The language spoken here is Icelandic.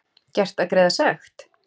Gert að greiða sekt?